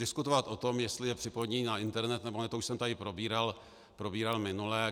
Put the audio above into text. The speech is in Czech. Diskutovat o tom, jestli je připojený na internet, nebo ne, to už jsem tady probíral minule.